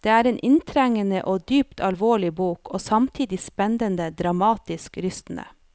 Det er en inntrengende og dypt alvorlig bok, og samtidig spennende, dramatisk, rystende.